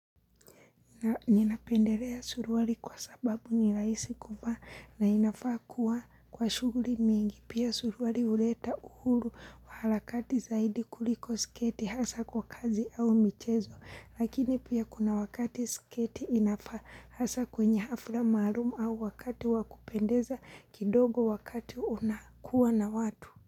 Ninapendelea suruari kwa sababu ni rahisi kuvaa na inafaa kuwa kwa shughuli mingi. Pia suruari huleta uhuru wa halakati zaidi kuliko sketi hasa kwa kazi au michezo. Lakini pia kuna wakati sketi inafaa hasa kwenye hafra maalum au wakati wakupendeza kidogo wakati unakuwa na watu.